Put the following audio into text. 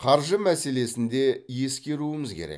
қаржы мәселесін де ескеруіміз керек